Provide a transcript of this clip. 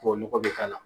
Tubabu nɔgɔ bɛ k'a la